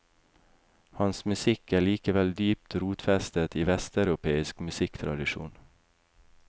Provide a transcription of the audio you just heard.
Hans musikk er likevel dypt rotfestet i vesteuropeisk musikktradisjon.